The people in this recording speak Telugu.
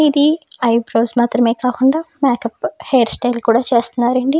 ఇది ఐబ్రోస్ మాత్రమే కాకుండా హెయిర్ స్టైల్ కూడా చేస్తున్నారండి.